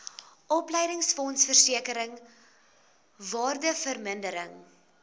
opleidingsfonds versekering waardevermindering